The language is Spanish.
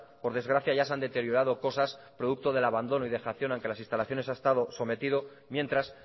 por desgracia ya se han deteriorado cosas producto del abandono y dejación al que las instalaciones ha estado sometido mientras